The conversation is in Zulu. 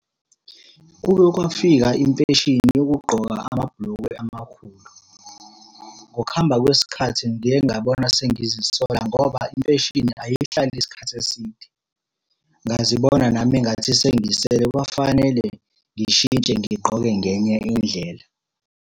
Kuke kwafika imfeshini yokugqoka amabhulukwe amakhulu. Ngokuhamba kwesikhathi ngiye ngabona sengizisola ngoba imfeshini ayihlali isikhathi eside. Ngazibona nami engathi sengisele kwafanele ngishintshe ngigqoke ngenye indlela.